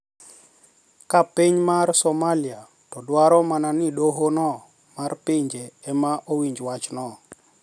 Ka piny Somalia to dwaro mana ni doho no mar pinje ema owinj wachno